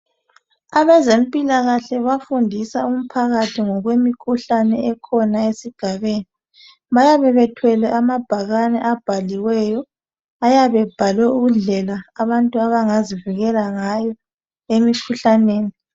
Abezempilakahle bafundisa umphakathi ngokwemikhuhlane ekhona esigabeni. Bayabe bethwele amabhakane abhaliweyo. Ayabebhalwe indlela abantu abangazivikela ngayo emikhuhlaneni.